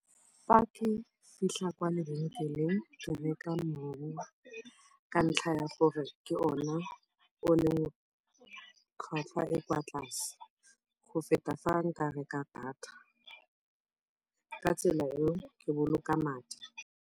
Fa ke fitlha kwa lebenkeleng re reka mowa ka ntlha ya gore ke ona o leng tlhwatlhwa e e kwa tlase go feta fa nka reka data, ka tsela eo ke boloka madi.